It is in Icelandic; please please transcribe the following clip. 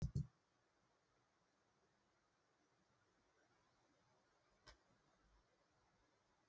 Elín: En þegar sólin er í augun?